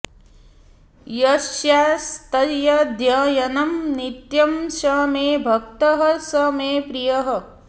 यस्यास्त्यध्ययनं नित्यं स मे भक्तः स मे प्रियः